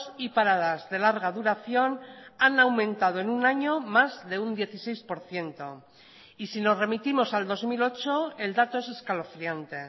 y paradas de larga duración han aumentado en un año más de un dieciséis por ciento y si nos remitimos al dos mil ocho el dato es escalofriante